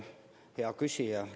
Hea küsija!